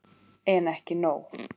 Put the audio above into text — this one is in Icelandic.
En ekki nóg.